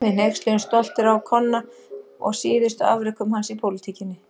Við hneykslumst stoltir á Konna og síðustu afrekum hans í pólitíkinni.